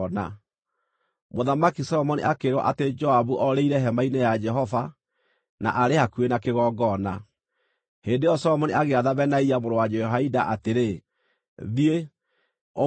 Mũthamaki Solomoni akĩĩrwo atĩ Joabu orĩire hema-inĩ ya Jehova na aarĩ hakuhĩ na kĩgongona. Hĩndĩ ĩyo Solomoni agĩatha Benaia mũrũ wa Jehoiada atĩrĩ, “Thiĩ, ũmũũrage!”